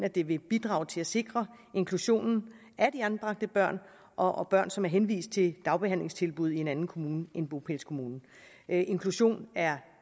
at det vil bidrage til at sikre inklusionen af de anbragte børn og af børn som er henvist til dagbehandlingstilbud i en anden kommune end bopælskommunen inklusion er